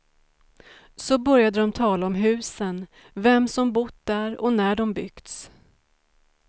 Så började de tala om husen, vem som bott där och när de byggts.